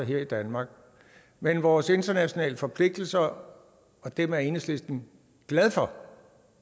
her i danmark men vores internationale forpligtelser og dem er enhedslisten glad for